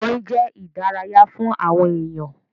Orin jẹ́ ìdárayá fún àwọn èyàn.